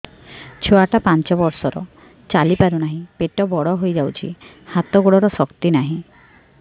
ଛୁଆଟା ପାଞ୍ଚ ବର୍ଷର ଚାଲି ପାରୁନାହଁ ପେଟ ବଡ ହୋଇ ଯାଉଛି ହାତ ଗୋଡ଼ର ଶକ୍ତି ନାହିଁ